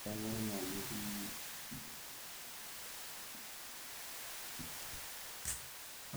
tunguai enkop eitu irem angas peyie eshukunye empiron enye